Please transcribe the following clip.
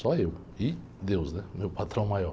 Só eu e deus, né? Meu patrão maior.